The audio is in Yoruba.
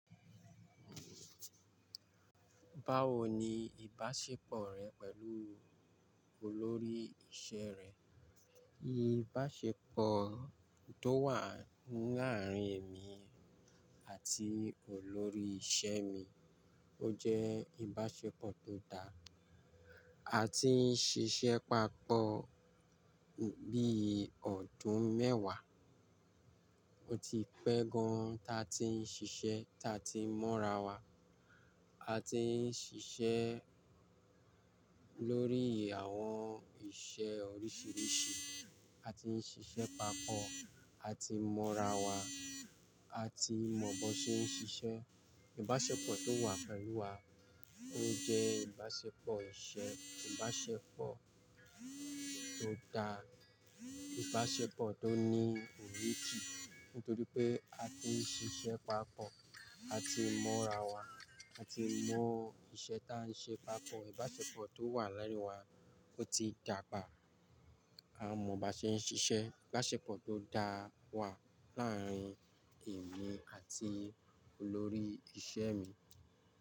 Báwo ni ìbáṣepọ̀ rẹ pẹ̀lú olórí iṣẹ́ rẹ? Ìbáṣepọ̀ tó wà láàárín èmi àti olórí iṣẹ́ mi ó jẹ́ ìbáṣepọ̀ tó dá. A ti ń ṣiṣẹ́ papọ̀ bií ọdún mẹ́wàá. O ti pẹ́ gan ta tí ń ṣiṣẹ́, ta tí ń mọ́ra wa. A ti ń ṣiṣẹ́ lórí àwọn iṣẹ́ oríṣiríṣi. A ti ń ṣiṣẹ́ papọ̀. A ti mọ́ra wa. A ti mọ̀ bó ṣe ń ṣiṣẹ́. Ìbáṣepọ̀ tó wà pelu wa ó jẹ́ ìbáṣepọ̀ iṣẹ́, ìbáṣepọ̀ tó dá, ìbáṣepọ̀ tó ní ìrétì. Nítorí pé a ti ń ṣiṣẹ́ papọ̀, a ti mọ́ra wa, a ti mọ iṣẹ́ ta ń ṣe papọ̀. Ìbáṣepọ̀ tó wà láàárín wa ó ti dàgbà. A mọ̀ bó ṣe ń ṣiṣẹ́. Ìbáṣepọ̀ tó dá wà láàárín èmi àti olórí iṣẹ́ mi.